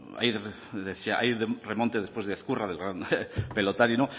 hay remonte después de ezkurra el gran pelotari y